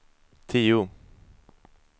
tio